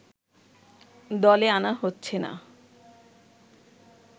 দলে আনা হচ্ছে না